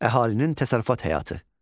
Əhalinin təsərrüfat həyatı.